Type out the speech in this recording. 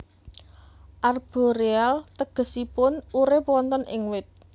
Arboreal tegesipun urip wonten ing wit